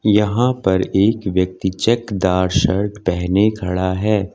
यहां पर एक व्यक्ति चेकदार शर्ट पेहने खड़ा है।